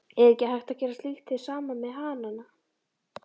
Er ekki hægt að gera slíkt hið sama með hanana?